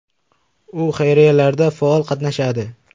U xayriyalarda faol qatnashadi.